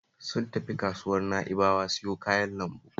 Sun tafi kasuwar Na'bawa siyo kayan lambu